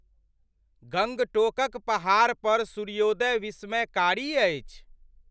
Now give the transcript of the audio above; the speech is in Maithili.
गंगटोकक पहाड़पर सूर्योदय विस्मयकारी अइछ ।